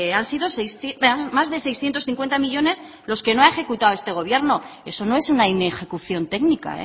han sido más de seiscientos cincuenta millónes los que no ha ejecutado este gobierno eso no es una inejecución técnica